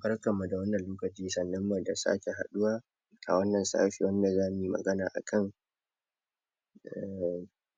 Barkan mu da wannan lokaci, sannun mu da sake haduwa a wannan sashen da za mu yi magana a kan